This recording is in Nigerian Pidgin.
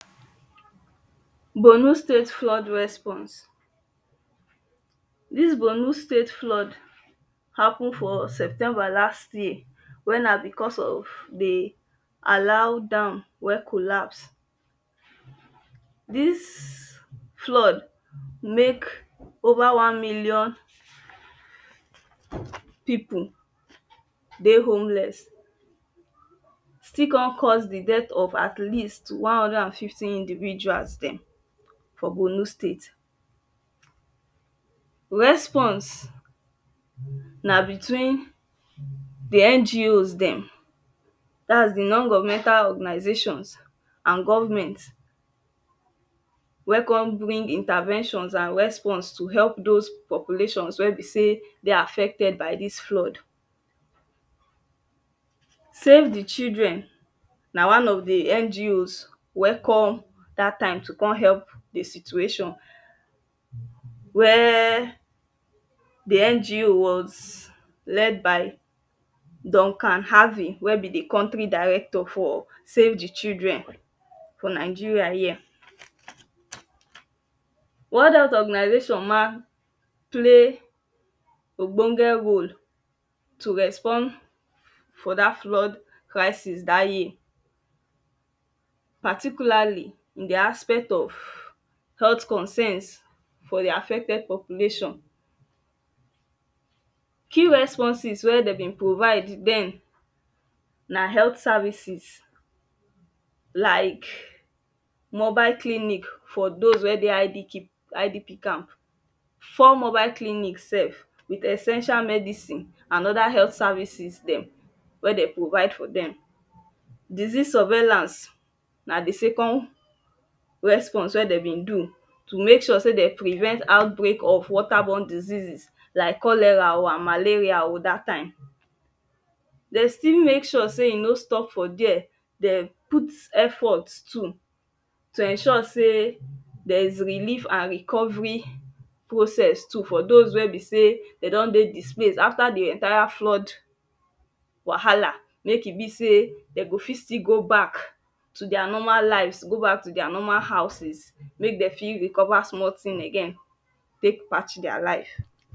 borno state flood response dis borno state flood happen for september last year wey na because of di alam dam wen collaps dis flood mek over one million pipu dey homeless. still kon cause di death of at least one hundred and fifty individuals dem for borno state respons na between di ngo's dem dat is di non-governmental organisation and government we kon bring intervention and respons to help those populations wen be sey dey affected by dis flood save di children na one of di ngo's we come dat time to kon help di situation where di ngo was led by duncan harvin we be di country director for save di children for nigeria here world health organisation ma play ogbonge role to respond for dat flood crisis dat year particularly in di aspect of health concerns for di affected population few responses wen de bin provide den na health services like mobile clinic for those wen dey idp idp camp four mobile clinic self with essential medicine and other health services we de provide for dem disease surveillance na di second respons wen de bin do to mek sure sey den prevent out break of water born diseases like cholera um and malerial um dat time dey still mek sure sey e no stop for there den put effort too to ensure sey there is relief and recovery process too for those wen be sey de don dey displaced after di entire flood wahala mek e be sey de go fit still go back to their normal lives go back to their normal houses mey den fit recover small tin again tek patch their live